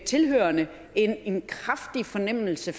tilhørerne en kraftig fornemmelse